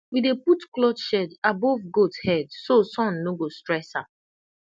we dey put cloth shade above goat head so sun no go stress dem